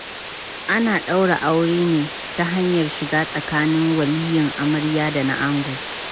Ana ɗaura aure ne ta hanyar siga tsakaninin waliyin amarya da na ango.